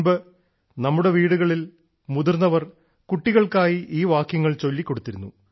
മുൻപ് നമ്മുടെ വീടുകളിൽ മുതിർന്നവർ കുട്ടികൾക്കായി ഈ വാക്യങ്ങൾ ചൊല്ലി കൊടുത്തിരുന്നു